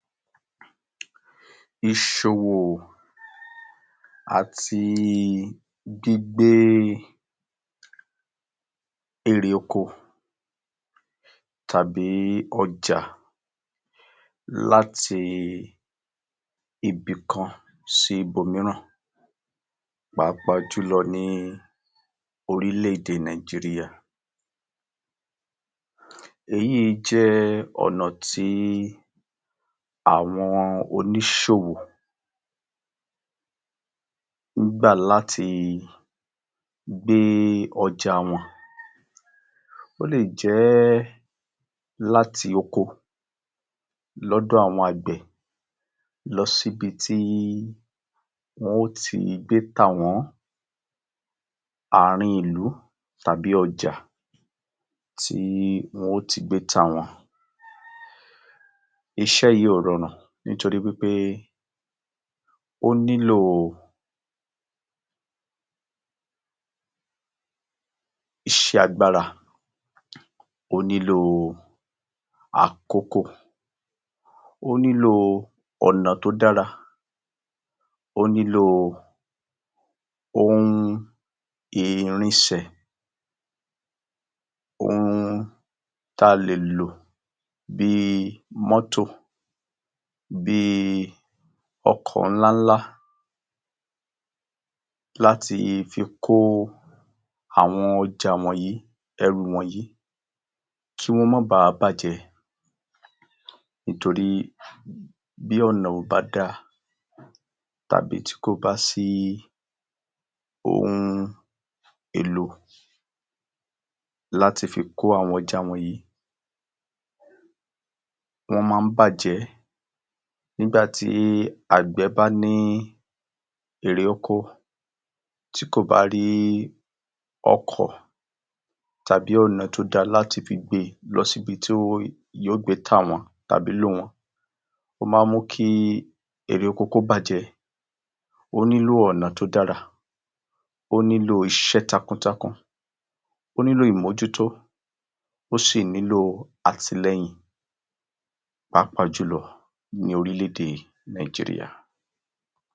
Iṣẹ́ àgbẹ̀, pápájùlọ ni àwọn oko tó gborò kí o ṣe iṣẹ́ tí òrórùn. Ọ̀pọ̀lọpọ̀ idójúkọ sì ni àwọn àgbẹ máa ń dojúkọ. Ọkan lára àwọn idójúkọ tó, tó ní ìkìme jù. Ó ni bí i boomiri ireókò. Oríṣìí ọ̀nà ní àwọn àgbẹ máa ń gbà láti iboomiri ireókò wọn nítorí omi ṣe pàtákì lọ́pọ̀lọ́pọ̀ sí ọ̀gbìn. Iṣẹ́ àgbẹ láìsí omi, o máa nira. Ireókò kìí yọ dáadáa, o máa mu agbárakákáwá. Nítorínà, àwọn àgbẹ máa ń sábúgbó ipá ti ọ̀gbìn tí wọ́n mọ láti fi wa omi fún ireókò wọn. Ará ọ̀nà tí wọn máa ń lò ní pé wọn máa ń wa ẹwọ̀n kéékée kéé tí máa ń de omi láti ireókò kan lọ sí ireókò mírá láti fi jẹ́ kí omi kó wà ní ìlawọ̀-ìlawọ̀ oko kọ̀ọ̀kan. Àwọn oko tó ba gborò wọ́n yìí, wọn máa ń ni àlàfo láàrín ìlawọ̀ kọ̀ọ̀kan tó máa mú kí o rọrùn kí omi kó ráyẹ kọjá lọ sí ireókò mírá. Nígbà tí àwọn àgbẹ bá ń sẹ́rin nǹkan yìí, ìdání lójú máa ń wà pé èréòkò yóò yára láti so, láti wù àti láti kórìí. O máa mú kí o rọrùn pẹ̀lú. Àwọn àgbẹ nílo omi, ipèsè omi mọ̀ ínṣe ọgbìn.